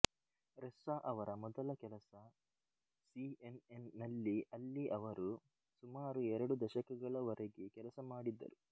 Ressa ಅವರ ಮೊದಲ ಕೆಲಸ ಸಿಎನ್ಎನ್ ನಲ್ಲಿ ಅಲ್ಲಿ ಅವರು ಸುಮಾರು ಎರಡು ದಶಕಗಳ ವರೆಗೆ ಕೆಲಸ ಮಾಡಿದ್ದರು